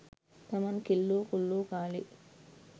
තමන් කෙල්ලෝ කොල්ලෝ කාලේ